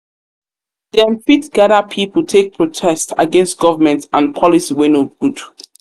fit gather pipo take protest take protest against government and policy wey no good